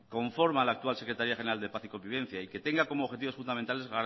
conforma la actual secretaría general de paz y convivencia y que tenga como objetivos fundamentales